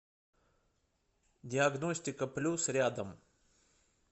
диагностика плюс рядом